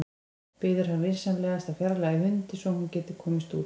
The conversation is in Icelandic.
Biður hann vinsamlegast að fjarlægja hundinn svo að hún geti komist út.